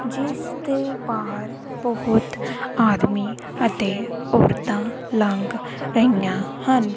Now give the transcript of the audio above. ਜਿਸ ਦੇ ਬਾਹਰ ਬਹੁਤ ਆਦਮੀ ਅਤੇ ਔਰਤਾਂ ਲੰਘ ਰਹੀਆਂ ਹਨ।